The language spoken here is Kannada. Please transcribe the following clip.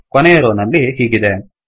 ಕೊನೆಯ ರೋ ನಲ್ಲಿ ಹೀಗಿದೆ